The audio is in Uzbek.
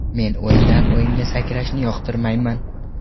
Men o‘yindan-o‘yinga sakrashni yoqtirmayman.